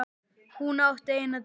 Hún átti eina dóttur.